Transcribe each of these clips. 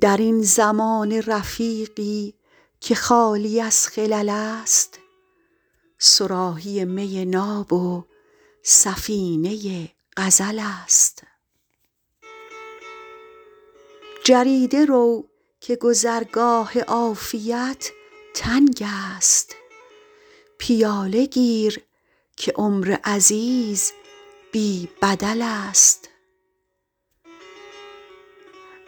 در این زمانه رفیقی که خالی از خلل است صراحی می ناب و سفینه غزل است جریده رو که گذرگاه عافیت تنگ است پیاله گیر که عمر عزیز بی بدل است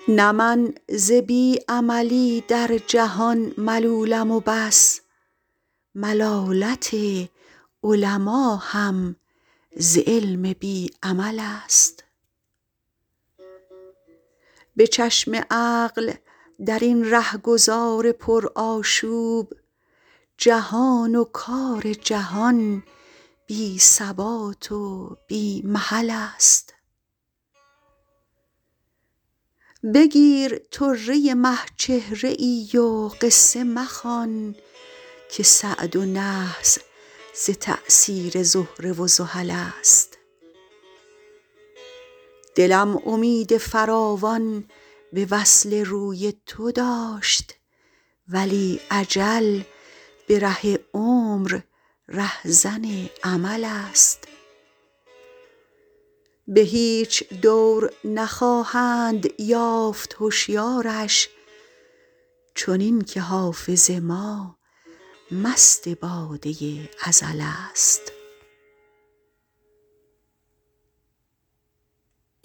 نه من ز بی عملی در جهان ملولم و بس ملالت علما هم ز علم بی عمل است به چشم عقل در این رهگذار پرآشوب جهان و کار جهان بی ثبات و بی محل است بگیر طره مه چهره ای و قصه مخوان که سعد و نحس ز تأثیر زهره و زحل است دلم امید فراوان به وصل روی تو داشت ولی اجل به ره عمر رهزن امل است به هیچ دور نخواهند یافت هشیارش چنین که حافظ ما مست باده ازل است